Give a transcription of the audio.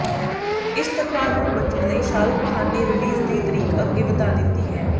ਇਸ ਟਕਰਾਅ ਤੋਂ ਬਚਣ ਲਈ ਸ਼ਾਹਰੁਖ ਖਾਨ ਨੇ ਰਿਲੀਜ਼ ਦੀ ਤਰੀਕ ਅੱਗੇ ਵਧਾ ਦਿੱਤੀ ਹੈ